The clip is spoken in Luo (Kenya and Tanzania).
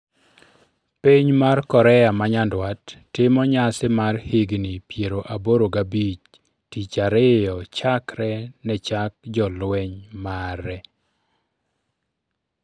Piny mar Korea manyandwat timo nyasi mar higni piero aboro gabich tich ariyo chakre nechak jolweny mare